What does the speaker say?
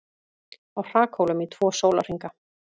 Á hrakhólum í tvo sólarhringa